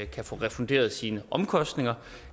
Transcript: kan få refunderet sine omkostninger